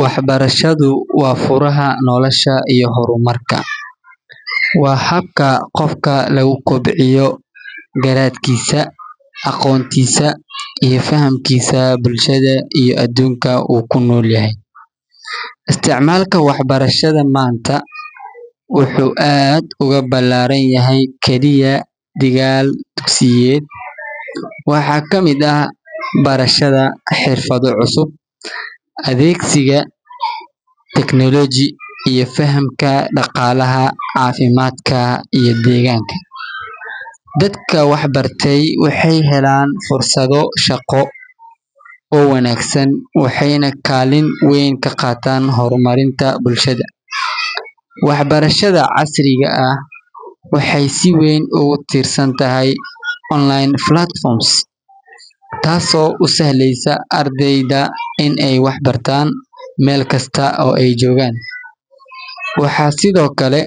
Waxbarashadu waa furaha nolosha iyo horumarka. Waa habka qofka lagu kobciyo garaadkiisa, aqoontiisa, iyo fahamkiisa bulshada iyo adduunka uu ku nool yahay. Isticmaalka waxbarashada maanta wuxuu aad uga ballaaran yahay kaliya dhigaal dugsiyeed; waxaa ka mid ah barashada xirfado cusub, adeegsiga technology, iyo fahamka dhaqaalaha, caafimaadka, iyo deegaanka. Dadka waxbartay waxay helaan fursado shaqo oo wanaagsan, waxayna kaalin weyn ka qaataan horumarinta bulshada. Waxbarashada casriga ah waxay si weyn ugu tiirsan tahay online platforms, taasoo u sahlaysa ardayda inay wax ka bartaan meel kasta oo ay joogaan. Waxaa sidoo kale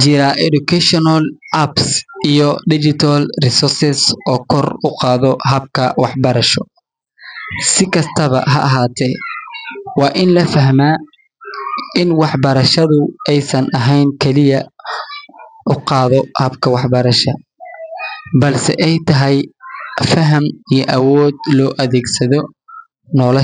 jira educational apps iyo digital resources oo kor u qaada habka waxbarasho. Si kastaba ha ahaatee, waa in la fahmaa in waxbarashadu aysan ahayn kaliya shahaado, balse ay tahay faham iyo awood loo adeegsado nolosha.